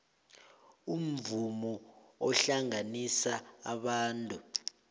umvumo uhlanganisa abantu